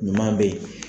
Ɲuman be ye